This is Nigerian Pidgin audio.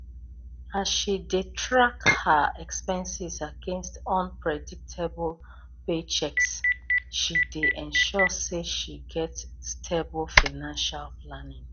as she dey track her expenses against unpredictable paychecks she dey ensure say she get stable financial planning